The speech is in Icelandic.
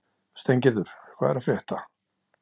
Steingerður, hvað er að frétta?